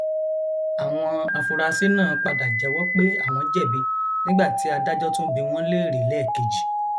àwọn afurasí náà padà jẹwọ pé àwọn jẹbi nígbà tí adájọ tún bi wọn léèrè lẹẹkejì